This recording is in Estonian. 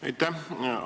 Aitäh!